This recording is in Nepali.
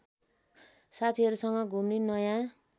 साथीहरूसँग घुम्ने नयाँ